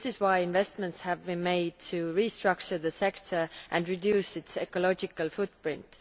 This is why investments have been made to restructure the sector and reduce its ecological footprint.